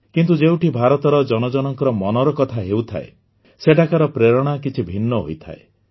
କିନ୍ତୁ ଯେଉଁଠି ଭାରତର ଜନ ଜନଙ୍କର ମନର କଥା ହେଉଥାଏ ସେଠାକାର ପ୍ରେରଣା କିଛି ଭିନ୍ନ ହୋଇଥାଏ